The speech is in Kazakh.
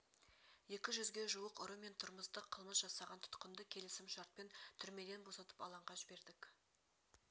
екі жүзге жуық ұры мен тұрмыстық қылмыс жасаған тұтқынды келісім-шартпен түрмеден босатып алаңға жібердңк